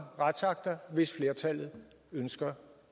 retsakter hvis flertallet ønsker